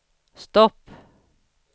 stopp